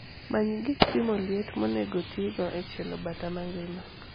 many gik pimo liet monego tigo e chielo bata magima